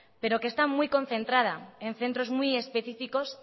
pero que está concentrada en centros muy específicos